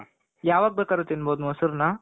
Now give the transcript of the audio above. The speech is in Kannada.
ಯಾವಾಗ್ ಬೇಕಾರು ತಿನ್ಬಹುದು ಮೊಸರನ